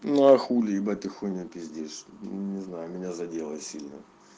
ну а хуле ебать ты хуйню пиздишь не знаю меня задело сильно